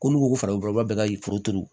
Ko n'u ko ko farafin furaba bɛɛ ka foro turu